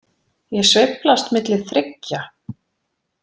Ég sveiflast milli þriggja.